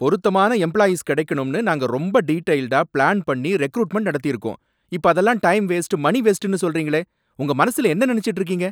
பொருத்தமான எம்ப்ளாயீஸ் கிடைக்கணும்னு நாங்க ரொம்ப டீடெயில்டா பிளான் பண்ணி ரெகுரூட்மென்ட் நடத்திருக்கோம், இப்ப, அதெல்லாம் டைம் வேஸ்ட், மனி வேஸ்ட்டுன்னு சொல்றீங்களே! உங்க மனசுல என்ன நனைச்சுட்டு இருக்கீங்க!